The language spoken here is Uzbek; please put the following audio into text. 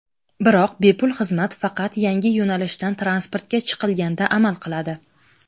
Biroq bepul xizmat faqat yangi yo‘nalishdan transportga chiqilganda amal qiladi.